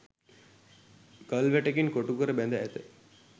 ගල් වැටකින් කොටුකර බැඳ ඇත.